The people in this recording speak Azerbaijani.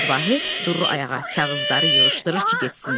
Səməd Vahid durur ayağa, kağızları yığışdırır ki, getsin.